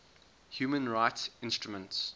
human rights instruments